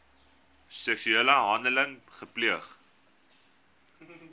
seksuele handeling gepleeg